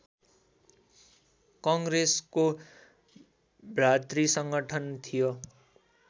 कङ्ग्रेसको भ्रातृसङ्गठन थियो